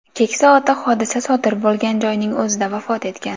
Keksa ota hodisa sodir bo‘lgan joyning o‘zida vafot etgan.